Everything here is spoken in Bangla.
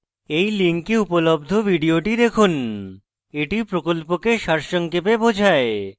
এই link উপলব্ধ video দেখুন এটি প্রকল্পকে সারসংক্ষেপে বোঝায়